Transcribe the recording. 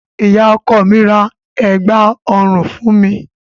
Ìyá ọkọ mi ra ẹ̀gbá-ọrùn fún mi.